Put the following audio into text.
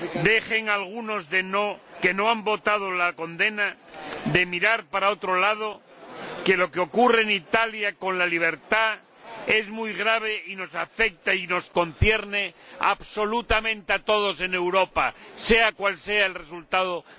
Dejen algunos de los que no han votado a favor de la condena de mirar para otro lado, pues lo que ocurre en Italia con la libertad es muy grave y nos afecta y nos concierne absolutamente a todos en Europa, sea cual sea el resultado de la votación de hoy.